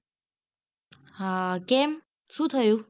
હા કેમ શુ થયું?